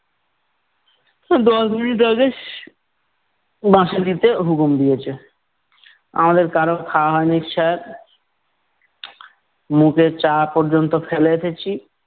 দশ মিনিট আগেই , বাঁশি দিতে হুকুম দিয়েছে। আমাদের কারোর খাওয়া হয় নি, sir মুখের চা পর্যন্ত ফেলে এসেছি।